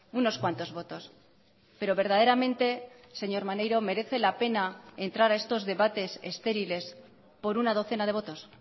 unos cuantos votos pero verdaderamente señor maneiro merece la pena entrar a estos debates estériles por una docena de votos